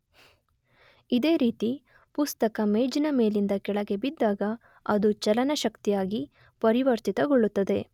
ಇದೇ ರೀತಿ ಪುಸ್ತಕ ಮೇಜಿನ ಮೇಲಿಂದ ಕೆಳಗೆ ಬಿದ್ದಾಗ ಅದು ಚಲನ ಶಕ್ತಿಯಾಗಿ ಪರಿವರ್ತಿತಗೊಳ್ಳುತ್ತದೆ.